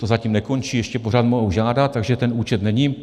To zatím nekončí, ještě pořád mohou žádat, takže ten účet není.